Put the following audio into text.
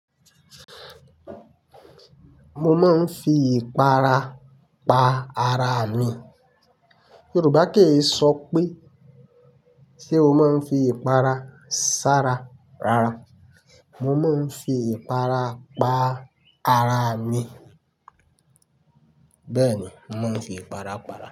Mo máa ń fi ìpara pa araa mi. Yorùbá kì í sọ pé ṣe o máa ń fi ìpara sára rara. Mo máa ń fi ìpara pa ara mi. Bẹ́ẹ̀ ni, mo máa ń fi ìpara pa ara mi.